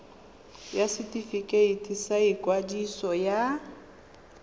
ya setefikeiti sa ikwadiso ya